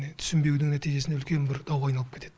түсінбеудің нәтижесінде үлкен бір дауға айналып кетеді